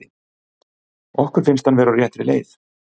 Okkur finnst hann vera á réttri leið.